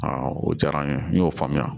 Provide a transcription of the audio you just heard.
o diyara n ye n y'o faamuya